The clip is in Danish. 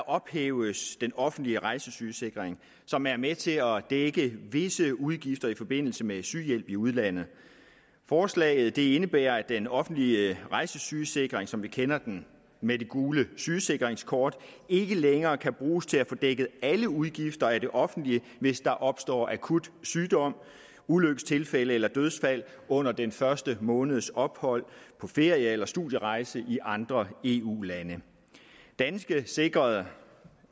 ophæves den offentlige rejsesygesikring som er med til at dække visse udgifter i forbindelse med sygehjælp i udlandet forslaget indebærer at den offentlige rejsesygesikring som vi kender den med det gule sygesikringskort ikke længere kan bruges til at få dækket alle udgifter af det offentlige hvis der opstår akut sygdom ulykkestilfælde eller dødsfald under den første måneds ophold på ferie eller studierejse i andre eu lande danske sikrede